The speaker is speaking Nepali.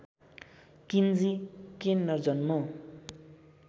किन्जी केन्नर जन्म